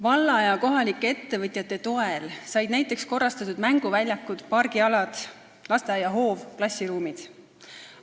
Valla ja kohalike ettevõtjate toel said näiteks korrastatud mänguväljakud, pargialad, lasteaia hoov, klassiruumid.